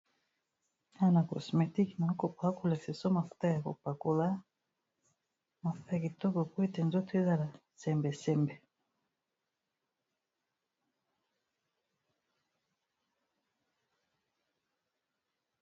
Awa na cosmétique bako lakisa biso mafuta ya kopakola mafuta ya kitoko po ete nzoto ezala sembe sembe.